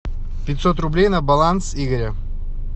пятьсот рублей на баланс игоря